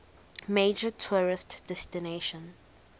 major tourist destination